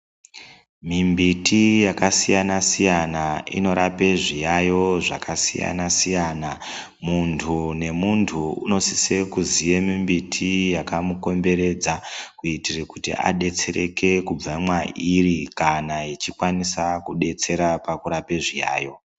Mimbiti yakasiyana siyana inorape zviyaiyo zvakasiyana siyana. Muntu nemuntu unosisira kuziya mimbiti yakamukomberedza kuitire kuti adetsereke kubva mweiri kana yechikwanisa kudetsera pakurapa zviyaiyo.